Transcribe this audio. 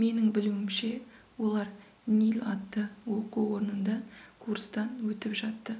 менің білуімше олар нил атты оқу орнында курстан өтіп жатты